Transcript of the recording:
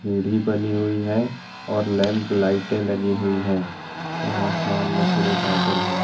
सीढ़ी बनी हुई है और लैंप लाइटे लगी हुई है और आसमान में पूरे बादल है।